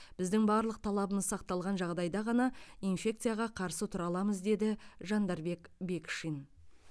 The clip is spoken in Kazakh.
біздің барлық талабымыз сақталған жағдайда ғана инфекцияға қарсы тұра аламыз деді жандарбек бекшин